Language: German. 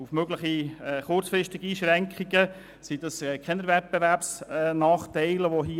Durch die kurzzeitigen Einschränkungen bestünden keine Wettbewerbsnachteile mehr.